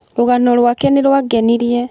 Rũgano rwake nĩ rwangenirie.